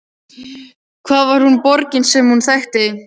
Hvar var nú borgin sem hún þekkti?